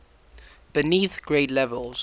beneath grade levels